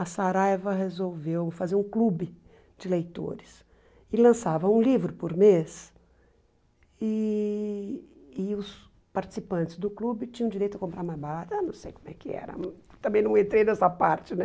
A Saraiva resolveu fazer um clube de leitores e lançava um livro por mês e e os participantes do clube tinham direito a comprar mais barato, ah não sei como é que era, também não entrei nessa parte, né?